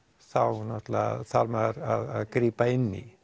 þá þarf maður að grípa inn í